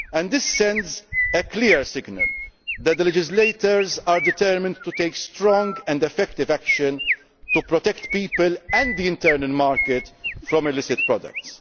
This sends a clear signal that the legislators are determined to take strong and effective action to protect people and the internal market from illicit products.